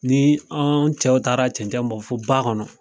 Ni an cɛw taara cɛncɛn bɔ fɔ ba kɔnɔ